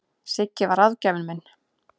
Siggi var ráðgjafinn minn.